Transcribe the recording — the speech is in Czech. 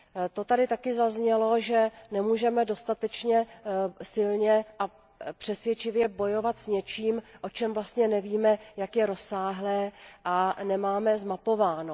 To tady taky zaznělo, že nemůžeme dostatečně silně a přesvědčivě bojovat s něčím, o čem vlastně nevíme jak je rozsáhlé, a co nemáme zmapováno.